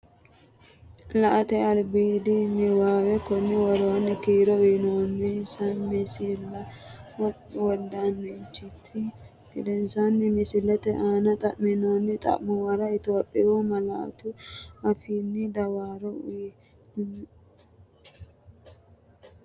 La”ate albiidi niwaawe Konni woroonni kiiro uyinoonninsa misilla wodanchitini gedensaanni misillate aanne xa’minoonni xa’muwara Itophiyu malaatu afiinni dawaro uuyye, limmo hanafansara albaanni meyaate gari malawanno?